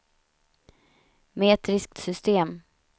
metriskt system